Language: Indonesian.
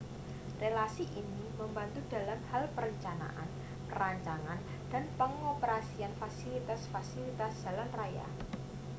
relasi ini membantu dalam hal perencanaan perancangan dan pengoperasian fasilitas-fasilitas jalan raya